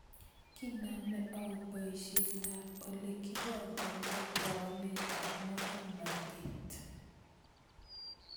kiiname au boyiisyetab ole kibonkonto tauneetaab mokornatet